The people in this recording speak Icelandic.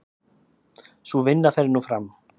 Sú vinna fer nú fram.